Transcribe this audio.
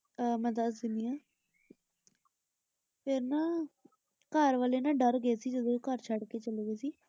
ਆਹ ਮੈਂ ਦੱਸ ਦਿਨੀ ਆਂ ਫੇਰ ਨਾ ਘਰ ਵਾਲੇ ਨਾ ਡਰ ਗਏ ਸੀ ਜਦੋ ਉਹ ਘਰ ਛੱਡ ਕੇ ਚਲੇ ਗਏ ਸੀ ।